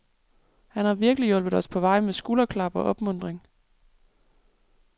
Han har virkelig hjulpet os på vej med skulderklap og opmuntring.